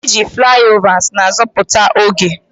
Iji flyovers na-azọpụta oge.